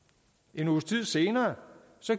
en uges tid senere